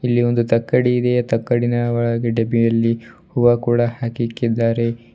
ಇಲ್ಲಿ ಒಂದು ತಕ್ಕಡಿ ಇದೆ ಆ ತಕ್ಕಡಿನ ಒಳಗೆ ಡಬ್ಬಿಯಲ್ಲಿ ಹೂವ ಕೂಡ ಹಾಕಿಕ್ಕಿದ್ದಾರೆ.